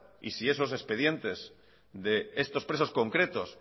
y se esos expedientes de estos presos concretos